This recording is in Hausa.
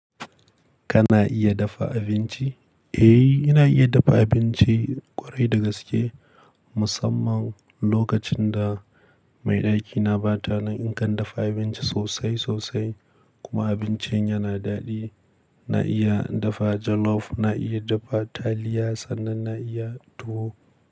Kana iya dafa abinci? Eh, ina iya dafa abinci ƙwarai da gaske. Musamman lokacin da mai ɗakina bata nan, in kan dafa abinci sosai sosai kuma abincin yana daɗi. Na iya dafa jollof, na iya dafa taliya sannan na iya tuwo.